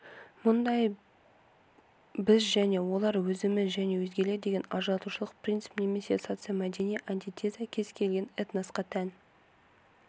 мұндай біз және олар өзіміз және өзгелер деген ажыратушылық принцип немесе социомәдени антитеза кез келген этносқа тән